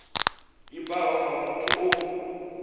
i bvaho kha muthu o